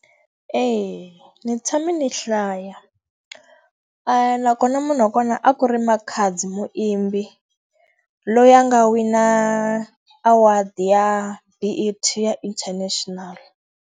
Eya ndzi tshame ndzi hlaya. Nakona munhu wa kona a ku ri Makhadzi Muimbi. Loyi a nga wina award ya B_E_T ya international.